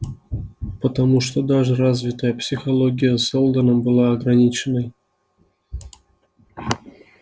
потому что даже развитая психология сэлдона была ограниченной